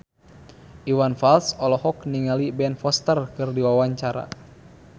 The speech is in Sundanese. Iwan Fals olohok ningali Ben Foster keur diwawancara